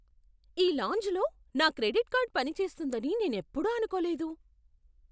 ఈ లాంజ్లో నా క్రెడిట్ కార్డ్ పని చేస్తుందని నేనెప్పుడూ అనుకోలేదు!